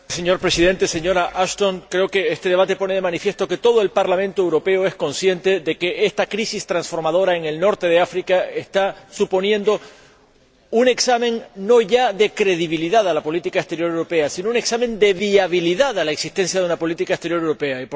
Señor Presidente, señora Ashton, creo que este debate pone de manifiesto que todo el Parlamento Europeo es consciente de que esta crisis transformadora en el norte de África está suponiendo un examen, no ya de credibilidad a la política exterior europea, sino un examen de viabilidad a la existencia de una política exterior europea.